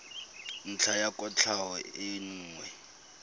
ntlha ya kwatlhao e nngwe